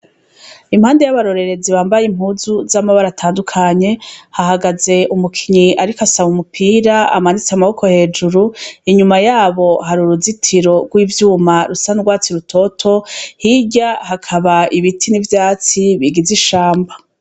Impande yabarorerezi bambaye impuzu zamabara atandukanye hahagaze umukinyi ariko asaba umupira amanitse amaboko hejuru inyuma yabo hari uruzitiro rwivyuma rusa nurwatsi rutoto hirya hakaba ibiti nivyatsi bigize ishamba.